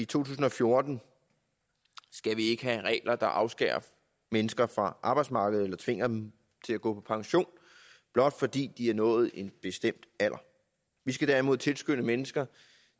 tusind og fjorten skal vi ikke have regler der afskærer mennesker fra arbejdsmarkedet eller tvinger dem til at gå på pension blot fordi de har nået en bestemt alder vi skal derimod tilskynde mennesker